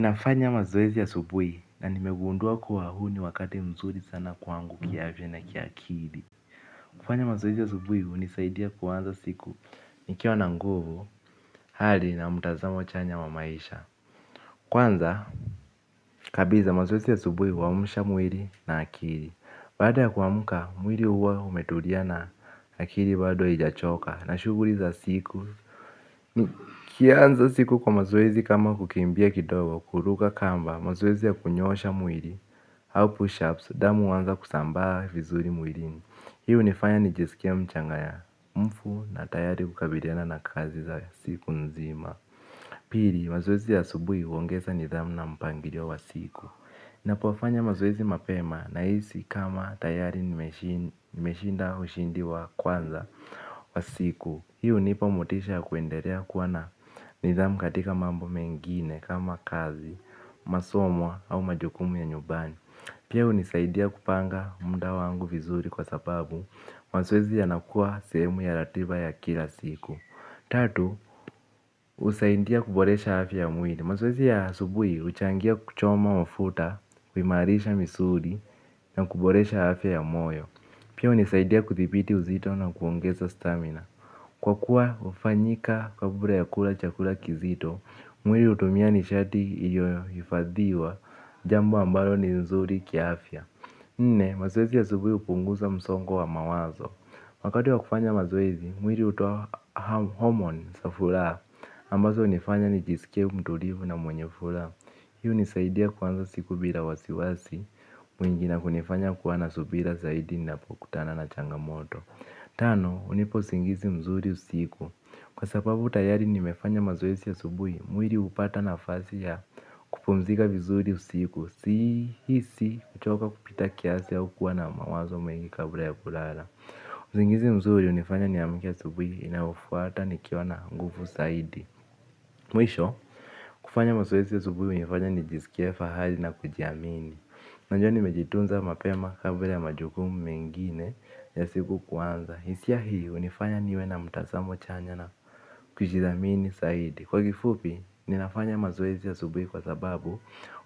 Nafanya mazoezi asubuhi na nimegundua kuwa huu ni wakati mzuri sana kwangu kiafya na kiakili. Kufanya mazoezi asubuhi hunisaidia kuanza siku nikiwa na nguvu hali na mtazamo chanya wa maisha. Kwanza kabisa mazoezi asubuhi huamsha mwili na akili. Baada ya kuamka, mwili huwa umetulia na akili bado haijachoka na shughuli za siku. Ukianza siku kwa mazoezi kama kukimbia kidogo, kuruka kamba, mazoezi ya kunyoosha mwili, au push ups, damu huanza kusambaa vizuri mwilini hii hunifanya nijesikie mchangayamfu na tayari kukabiliana na kazi za siku nzima. Pili, mazoezi ya asubuhi huongeza nidhamu na mpangilio wa siku. Napofanya mazoezi mapema nahisi kama tayari nimeshinda ushindi wa kwanza wa siku. Hii hunipa motisha ya kuendelea kuwa na nidhamu katika mambo mengine kama kazi, masomo au majukumu ya nyumbani. Pia hunisaidia kupanga muda wangu vizuri kwa sababu mazoezi yanakuwa sehemu ya ratiba ya kila siku. Tatu, husaidia kuboresha afya ya mwili. Mazoezi ya asubuhi huchangia kuchoma mafuta, kuimarisha misuli na kuboresha afya ya moyo. Pia hunisaidia kuthibiti uzito na kuongeza stamina. Kwa kuwa hufanyika kabla ya kula chakula kizito, mwili hutumia nishati iliyohifadhiwa, jambo ambalo ni nzuri kiafya. Nne, mazoezi ya asubuhi hupunguza msongo wa mawazo. Wakati wa kufanya mazoezi, mwili hutoa homoni za furaha, ambazo hunifanya nijisikie mtulivu na mwenye furaha. Hii hunisaidia kwanza siku bila wasiwasi, mwingi na kunifanya kuwa na subira zaidi ninapokutana na changamoto. Tano, hunipq usingizi mzuri usiku. Kwa sababu tayari nimefanya mazoezi asubuhi mwili hupata nafasi ya kupumzika vizuri usiku. Sihisi, kuchoka kupita kiasi au kuwa na mawazo mengi kabla ya kulala. Usingizi mzuri hunifanya niamke asubuhi inayofuata nikiwa na nguvu zaidi. Mwisho, kufanya mazoezi asubuhi hunifanya nijisikie fahari na kujiamini najua nimejitunza mapema kabla ya majukumu mengine ya siku kuanza. Hisia hii hunifanya niwe na mtazamo chanya na kujithamini zaidi. Kwa kifupi, ninafanya mazoezi asubuhi kwa sababu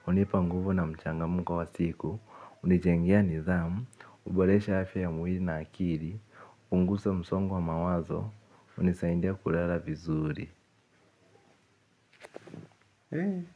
hunipa nguvu na mchangamko wa siku hunijengea nidhamu huboresha afya ya mwili na akili. Hupunguza msongo wa mawazo. Hunisaidia kulala vizuri.